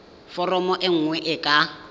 foromo e nngwe e ka